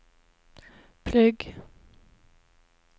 plugg